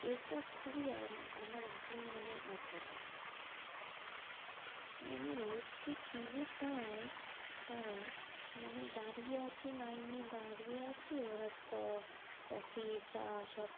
এটা খুবই আম~ আমার একদম মানে অপছন্দ। মানে লোককে কি যে পায় তারা, মানে দাঁড়িয়ে আছি line এ দাঁড়িয়ে আছি ওরা ক~ coffee চা সব